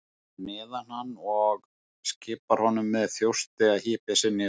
Stendur fyrir neðan hann og skipar honum með þjósti að hypja sig niður.